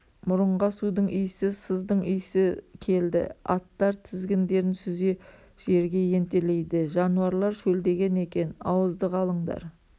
мұрынға судың иісі сыздың иісі келді аттар тізгіндерін сүзе жерге ентелейді жануарлар шөлдеген екен ауыздық алыңдар